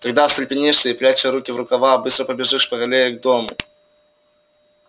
тогда встрепенёшься и пряча руки в рукава быстро побежишь по аллее к дому